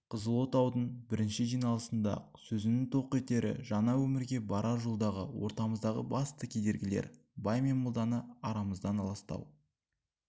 қызыл отаудың бірінші жиналысыңда-ақ сөзінің тоқетері жаңа өмірге барар жолдағы ортамыздағы басты кедергілер бай мен молданы арамыздан аластау